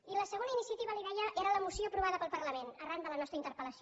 i la segona iniciativa li ho deia era la moció aprovada pel parlament arran de la nostra interpel·lació